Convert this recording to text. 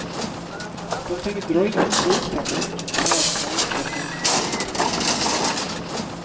Dom tänker dra in tågtrafiken till alla småstationer nu.